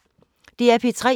DR P3